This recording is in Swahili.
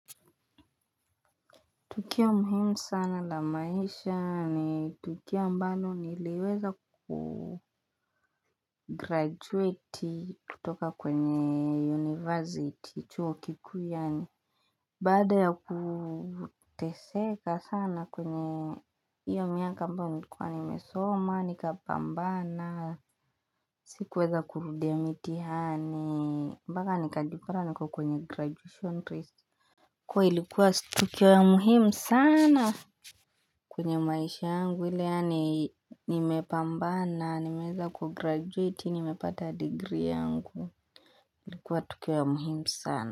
Tukio muhimu sana la maisha ni tukio ambalo niliweza ku kugraduate kutoka kwenye university, chuo kiku yaani. Baada ya kuteseka sana kwenye iyo miaka ambayo nilikuwa nimesoma, nikapambana, sikuweza kurudia mitihani, mpaka nikajipata niko kwenye graduation rist. Kwa ilikuwa tukio ya muhimu saana kwenye maisha yangu. Vile yaani nimepambana, nimeweza kugraduate, nimepata degree yangu. Ilikuwa tukio ya muhimu sana.